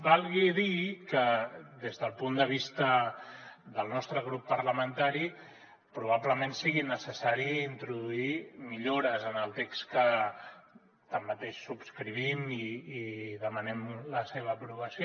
valgui dir que des del punt de vista del nostre grup parlamentari probablement sigui necessari introduir millores en el text que tanmateix subscrivim i demanem la seva aprovació